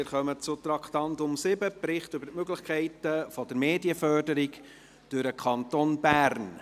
Wir kommen zum Traktandum 7, «Bericht über die Möglichkeiten der Medienförderung durch den Kanton Bern».